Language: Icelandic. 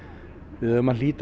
við eigum að hlýða